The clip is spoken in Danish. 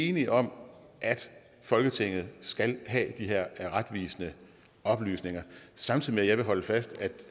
enige om at folketinget skal have de her retvisende oplysninger samtidig vil jeg holde fast i